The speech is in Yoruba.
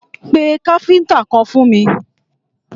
Pé káfíntà kan fún mi!